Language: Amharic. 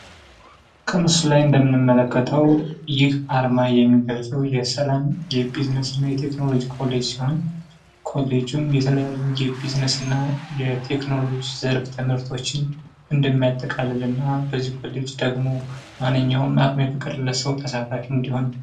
ከምስሉ ላይ እንደምንመለከተው ይህ አርማ የሚገልጸው የሰላም፣ የቢዝነስ እና ቴክኖሎጂ ኮሌጅ አርማ ሲሆን፤ የተለያዩ የሰላምና የቢዝነስ ትምህርቶችን እንደሚያጠቃልል እና በዚህ ኮሌጅ ማንኛውም አቅሙ የፈቀደለት ሰው ተሳታፊ እንዲሆን።